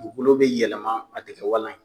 Dugukolo be yɛlɛman a te kɛ walan ye